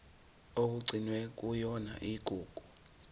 okugcinwe kuyona igugu